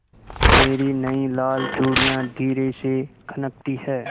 मेरी नयी लाल चूड़ियाँ धीरे से खनकती हैं